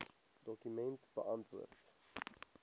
dokument beantwoord